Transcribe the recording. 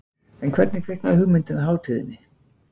En hvernig kviknaði hugmyndin að hátíðinni?